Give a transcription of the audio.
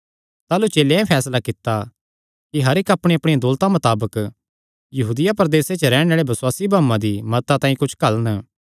ताह़लू चेलेयां एह़ फैसला कित्ता कि हर इक्क अपणियाअपणिया दौलता मताबक यहूदिया प्रदेसे च रैहणे आल़ेआं बसुआसी भाऊआं दी मदता तांई कुच्छ घल्लन